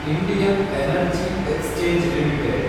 Indian energy exchange limited